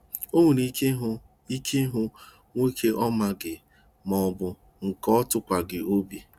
O nwere ike ịhụ ike ịhụ nwoke ọ maghị maọbụ nke ọ tụkwaghị obi